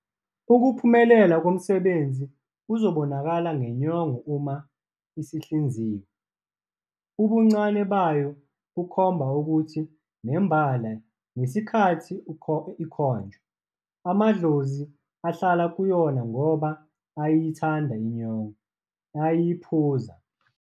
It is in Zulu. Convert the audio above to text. Ukuphumelela komsebenzi kuzobonakala ngenyongo uma isihlinziwe, ubuncane bayo bukhomba ukuthi nembala ngesikhathi ikhonjwa, amadlozi ahlala kuyona ngoba ayayithanda inyongo, ayayiphuza.